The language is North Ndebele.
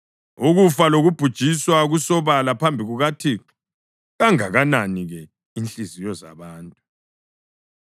UKufa lokuBhujiswa kusobala phambi kukaThixo kangakanani ke inhliziyo zabantu!